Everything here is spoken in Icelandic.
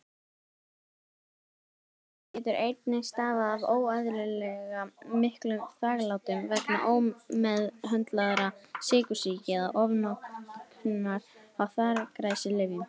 Vökvatap getur einnig stafað af óeðlilega miklum þvaglátum vegna ómeðhöndlaðrar sykursýki eða ofnotkunar á þvagræsilyfjum.